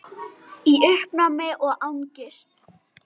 Í uppnámi og angist.